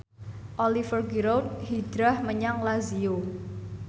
Oliver Giroud hijrah menyang Lazio